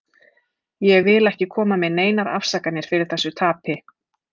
Ég vil ekki koma með neinar afsakanir fyrir þessu tapi.